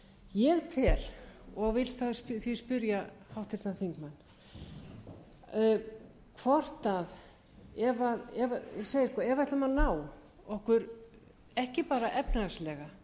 ég tel og vil því spyrja háttvirtan þingmann hvort ef við ætlum að ná okkur ekki bara efnahagslega